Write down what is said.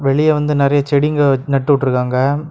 வெளிய வந்து நிறைய செடிங்க நட்டு விட்ருக்காங்க.